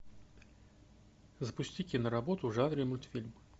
запусти киноработу в жанре мультфильм